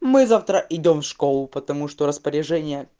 мы завтра идём в школу потому что распоряжение